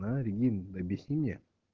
а регин объясни мне